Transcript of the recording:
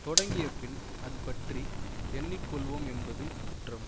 தொடங்கியபின் அது பற்றி எண்ணி கொள்வோம் என்பது குற்றம்